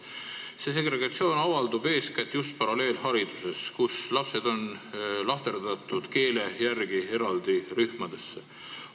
See segregatsioon avaldub eeskätt just paralleelhariduses, kui lapsed on keele järgi eraldi rühmadesse lahterdatud.